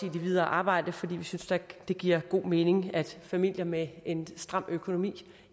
i det videre arbejde for vi synes det giver god mening at familier med en stram økonomi